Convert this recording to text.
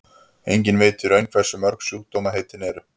enginn veit í raun hversu mörg sjúkdómaheitin eru